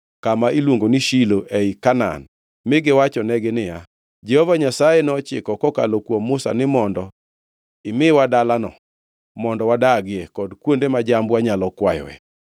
kama iluongo ni Shilo ei Kanaan mi giwachonegi niya, “Jehova Nyasaye nochiko kokalo kuom Musa ni mondo imiwa dalano mondo wadagie, kod kuonde ma jambwa nyalo kwayoe.”